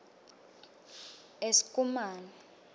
eskumane